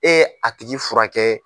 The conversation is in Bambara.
Ee a tigi furakɛ.